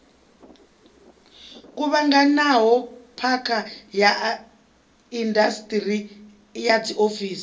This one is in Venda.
kuvhanganaho phakha ya indasiṱiri dziofisi